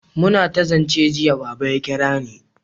muna ta zance jiya, Baba ya kirani